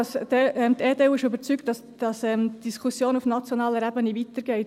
Die EDU ist überzeugt, dass die Diskussion auf nationaler Ebene weitergeht.